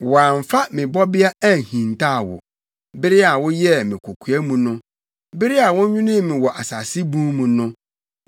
Wɔamfa me bɔbea anhintaw wo bere a wɔyɛɛ me kokoa mu no; bere a wɔnwenee me wɔ asase bun mu no,